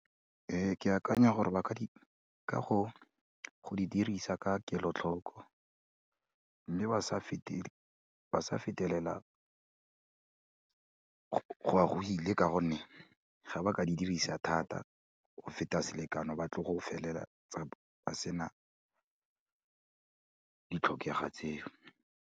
Ke akanya gore ba ka, ka go di dirisa ka kelotlhoko, mme ba sa fetelela go ya gwile ka gonne ga ba ka di dirisa thata go feta selekano ba tlo go felela ba se na di tlhokega tseo.